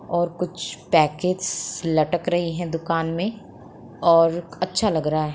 और कुछ पैकेटस लटक रहे है दुकान मे और अच्छा लग रहा है ।